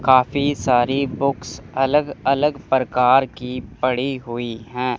काफी सारी बुक्स अलग अलग प्रकार की पड़ी हुई है।